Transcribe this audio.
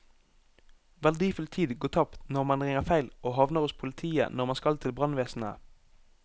Verdifull tid går tapt når man ringer feil og havner hos politiet når man skal til brannvesenet.